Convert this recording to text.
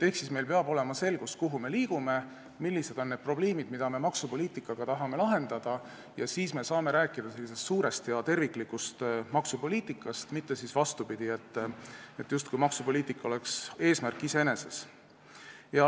Ehk siis meil peab olema selgus, kuhu me liigume, millised on need probleemid, mida me maksupoliitikaga tahame lahendada, ja siis me saame rääkida suurest ja terviklikust maksupoliitikast, mitte vastupidi, justkui maksupoliitika oleks eesmärk iseeneses.